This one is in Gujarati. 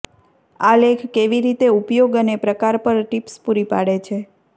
આ લેખ કેવી રીતે ઉપયોગ અને પ્રકાર પર ટિપ્સ પૂરી પાડે છે